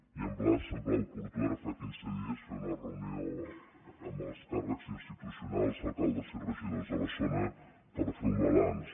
i em va semblar oportú ara fa quinze dies fer una reunió amb els càrrecs institucionals alcaldes i regidors de la zona per ferne un balanç